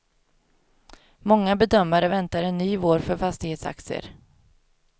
Många bedömare väntar en ny vår för fastighetsaktier.